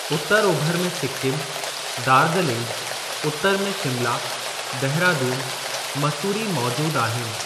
उत्तर ओभर में सिकिम, डार्ज़लिंग, उत्तर में शिमला, देहरादूनु, मसूरी मौजूद आहिनि।